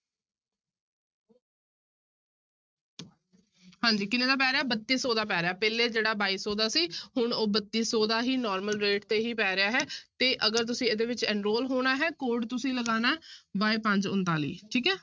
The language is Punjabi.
ਹਾਂਜੀ ਕਿੰਨੇ ਦਾ ਪੈ ਰਿਹਾ ਬੱਤੀ ਸੌ ਦਾ ਪੈ ਰਿਹਾ, ਪਹਿਲੇ ਜਿਹੜਾ ਬਾਈ ਸੌ ਦਾ ਸੀ ਹੁਣ ਉਹ ਬੱਤੀ ਸੌ ਦਾ ਹੀ normal rate ਤੇ ਹੀ ਪੈ ਰਿਹਾ ਹੈ ਤੇ ਅਗਰ ਤੁਸੀਂ ਇਹਦੇ ਵਿੱਚ enroll ਹੋਣਾ ਹੈ code ਤੁਸੀਂ ਲਗਾਉਣਾ y ਪੰਜ ਉਣਤਾਲੀ ਠੀਕ ਹੈ।